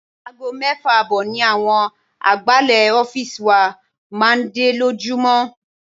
Aago mẹ́fà ààbọ̀ ni àwọn agbálẹ̀ ọ́fíìsì wa máa ń dé lójoojúmọ́.